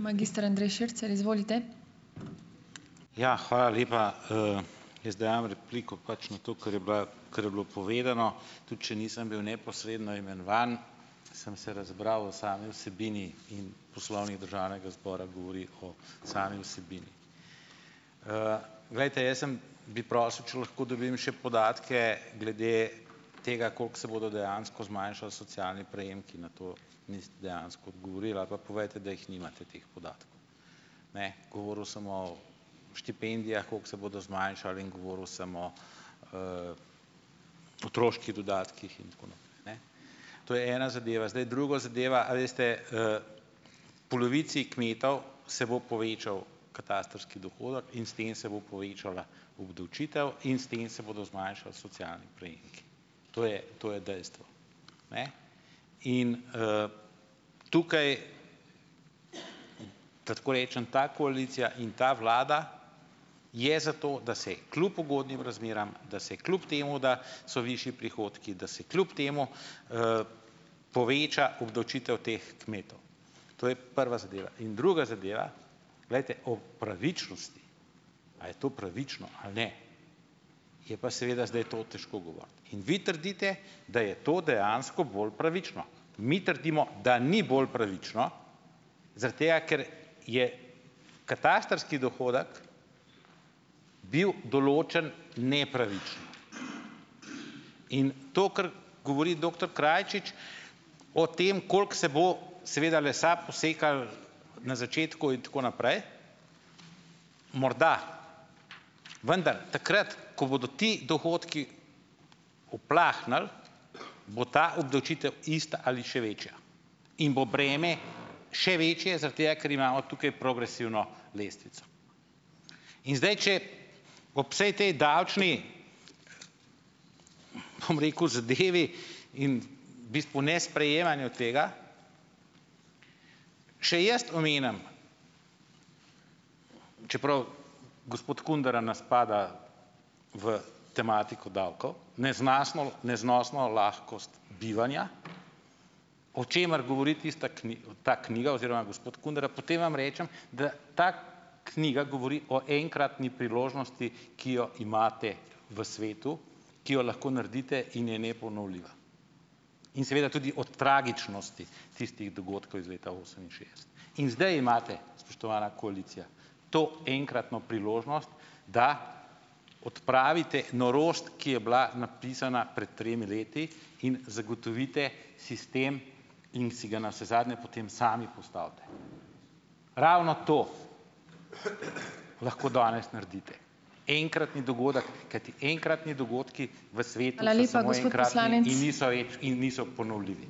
Ja. Hvala lepa. Jaz dajem repliko pač na to, kar je bila, kar je bilo povedano; tudi če nisem bil neposredno imenovan, sem se razbral v sami vsebini, in Poslovnik Državnega zbora govori o sami vsebini. Glejte, jaz sem, bi prosil, če lahko dobim še podatke glede tega, koliko se bodo dejansko zmanjšali socialni prejemki, na to niste dejansko odgovorili, ali pa povejte, da jih nimate teh podatkov. Ne, govoril samo o štipendijah, kako se bodo zmanjšale, in govoril sem o otroških dodatkih in tako naprej, ne. To je ena zadeva. Zdaj, druga zadeva. A veste, polovici kmetov se bo povečal katastrski dohodek in s tem se bo povečala obdavčitev in s tem se bodo zmanjšali socialni prejemki. To je to je dejstvo. Ne. In, Tukaj, da tako rečem, ta koalicija in ta vlada je za to, da se kljub ugodnim razmeram, da se kljub temu, da so višji prihodki, da se kljub temu poveča obdavčitev teh kmetov. To je prva zadeva. In druga zadeva. Glejte, o pravičnosti, a je to pravično ali ne, je pa seveda zdaj to težko govoriti. In vi trdite, da je to dejansko bolj pravično. Mi trdimo, da ni bolj pravično zaradi tega, ker je katastrski dohodek bil določen nepravično. In to, kar govori doktor Krajčič o tem, koliko se bo, seveda, lesa posekalo na začetku in tako naprej, morda. Vendar takrat, ko bodo ti dohodki uplahnili, bo ta obdavčitev ista ali še večja in bo breme še večje zaradi tega, ker imamo tukaj progresivno lestvico. In zdaj če ob vsej tej davčni, bom rekel, zadevi in bistvu nesprejemanju tega še jaz omenim, čeprav gospod Kundera na spada v tematiko davkov, lahkost bivanja, o čemer govori tista ta knjiga oziroma gospod Kundera, potem vam rečem, da ta knjiga govori o enkratni priložnosti, ki jo imate v svetu, ki jo lahko naredite in je neponovljiva. In seveda tudi o tragičnosti tistih dogodkov iz leta oseminšestdeset. In zdaj imate, spoštovana koalicija, to enkratno priložnost, da odpravite norost, ki je bila napisana pred tremi leti, in zagotovite sistem in si ga navsezadnje potem sami postavite. Ravno to lahko danes naredite. Enkratni dogodek. Kajti enkratni dogodki in niso ponovljivi,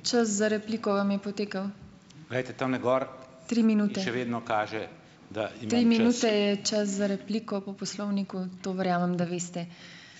glejte, tamle gor še vedno kaže ...